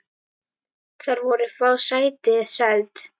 Þar voru fá sæti seld.